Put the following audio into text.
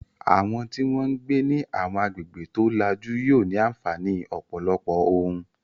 Àwọn tí wọ́n ń gbé ní àwọn agbègbè tó lajú yóò ní àǹfààní ọ̀pọ̀lọpọ̀ ohun